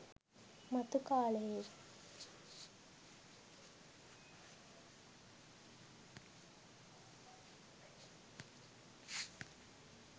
මතු කාලයේ